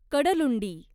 Kadalundi